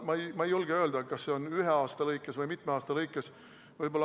Ma ei julge öelda, kas see on toimunud ühe või mitme aasta jooksul.